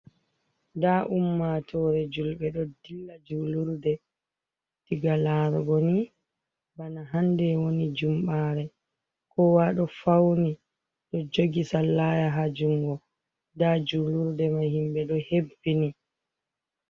Nda ummatore julbe ɗo dilla julurde. Diga laarugo ni bana hande woni jumɓaare, kowa do fawni. Ɓe ɗo jogi sallaya haa jungo, nda julurde mai himɓe ɗo hebbini.